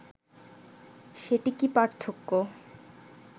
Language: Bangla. সেটি কি পার্থক্য